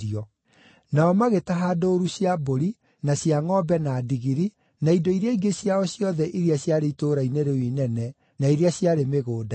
Nao magĩtaha ndũũru cia mbũri na cia ngʼombe na ndigiri, na indo iria ingĩ ciao ciothe iria ciarĩ itũũra-inĩ rĩu inene, na iria ciarĩ mĩgũnda-inĩ.